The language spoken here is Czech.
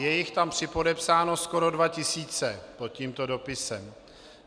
Je jich tam připodepsáno skoro dva tisíce pod tímto dopisem.